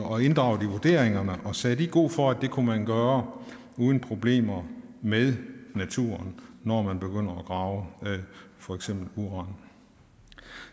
og inddraget i vurderingerne og sagde de god for at det kunne man gøre uden problemer med naturen når man begynder at grave for eksempel uran